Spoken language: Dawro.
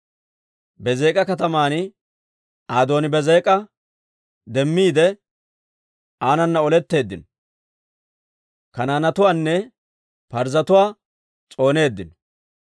Bezeek'a kataman Adooni-Beezek'a demmiide, aanana oletteeddino; Kanaanetuwaanne Parzzetuwaa s'ooneeddino.